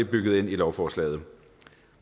bygget ind i lovforslaget